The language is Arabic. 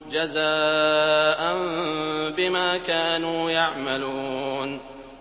جَزَاءً بِمَا كَانُوا يَعْمَلُونَ